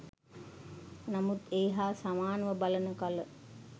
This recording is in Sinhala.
නමුත් ඒ හා සමානව බලන කල